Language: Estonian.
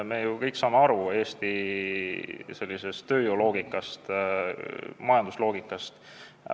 Me ju kõik saame aru Eesti tööjõuloogikast, majandusloogikast.